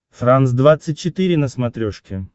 франс двадцать четыре на смотрешке